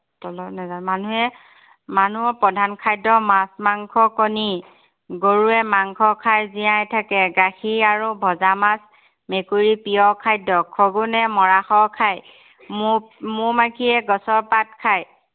মানুহৰ প্ৰধান খাদ্য় মাছ মাংস কণী। গৰুৱে মাংস খায় জীয়াই থাকে। গাখীৰ আৰু ভঁজা মাছ মেকুৰীৰ প্ৰিয় খাদ্য়। শগুণে মৰাশ খায়। মৌ~মৌ মাখিয়ে গছৰ পাত খায়।